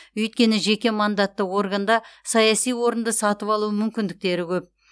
өйткені жеке мандатты органда саяси орынды сатып алу мүмкіндіктері көп